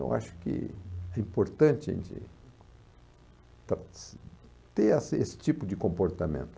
Eu acho que é importante a gente ter esse tipo de comportamento.